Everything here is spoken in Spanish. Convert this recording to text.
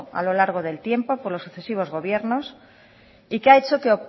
a lo largo del tiempo por los sucesivos gobiernos y que ha hecho que